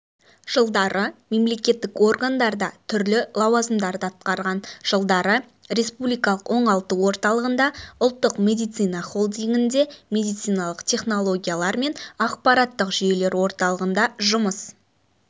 жылдары мемлекеттік органдарда түрлі лауазмдарды атқарған жылдары республикалық оңалту орталығында ұлттық медицина холдингінде медициналық технологиялар және ақпараттық жүйелер орталығында жұмыс